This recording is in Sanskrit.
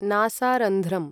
नासारन्ध्रम्